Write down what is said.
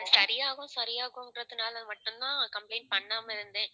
சரியாகும் சரியாகும்ங்கறனல மட்டும்தான் complaint பண்ணாமஇருந்தே